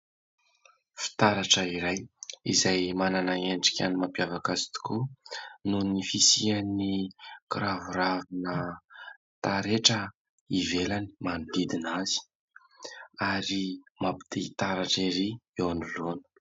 Fitaratra iray izay manana endrika ny mampiavaka azy tokoa noho ny fisian'ny kiraviravina taretra ivelany manodidina azy ary mampi te-hitaratra erỳ eo anoloana.